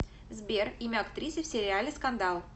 сбер имя актрисы в сериале скандал